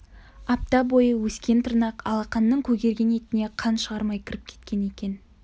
апта бойы өскен тырнақ алақанның көгерген етіне қан шығармай кіріп кеткен екен